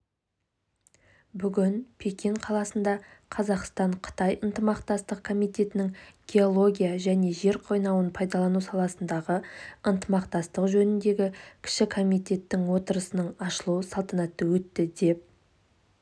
бүгін пекин қаласында қазақстан-қытай ынтымақтастық комитетінің геология және жер қойнауын пайдалану саласындағы ынтымақтастық жөніндегі кіші комитетінің отырысының ашылу салтанаты өтті деп